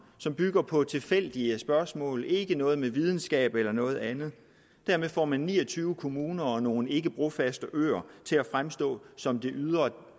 som bygger på tilfældige spørgsmål ikke noget med videnskab eller noget andet får man ni og tyve kommuner og nogle ikkebrofaste øer til at fremstå som det ydre